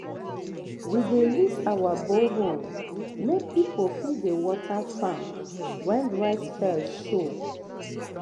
we dey lease our borehole make people fit dey um water farm when um dry spell show. um